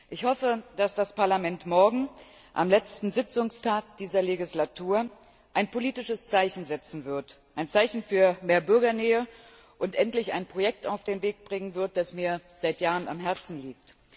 Ich hoffe, dass das Parlament morgen, am letzten Sitzungstag dieser Wahlperiode, ein politisches Zeichen setzen wird, ein Zeichen für mehr Bürgernähe, und endlich ein Projekt auf den Weg bringen wird, das mir seit Jahren am Herzen liegt.